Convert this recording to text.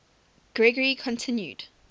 gregory continued